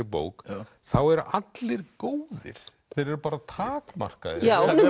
bók þá eru allir góðir þeir eru bara takmarkaðir